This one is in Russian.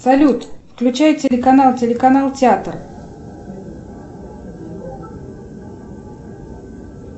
салют включай телеканал телеканал театр